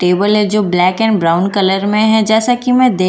table हैं जो black and brown colour में हैं जैसा की मैं देख पा रही हूँ इस दु--